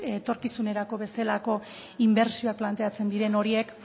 etorkizunerako bezalako inbertsioak planteatzen diren horiek